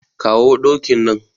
Kawo dokin nan.